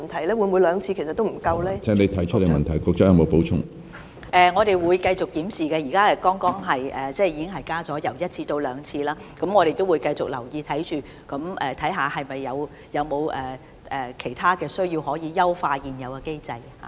我們會繼續檢視有關情況，現時醫管局剛剛已將檢視次數由每年一次增加至兩次，但我們會繼續留意，看看有否其他地方可以優化現有的機制。